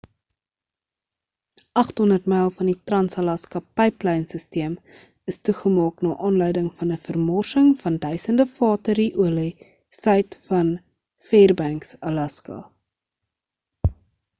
800 myl van die trans-alaska pyplynsisteem is toegemaak na aanleiding van 'n vermorsing van duisende vate ru-olie suid van fairbanks alaska